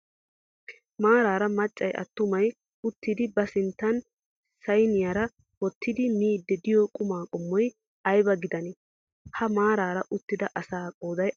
Maaraara maccay attumay uttidi ba sinttan sayiniyara wottidi miiddi diyo qumaa qommoy ayiba gidanee? Ha maaraara uttida asaa qooday aappunee?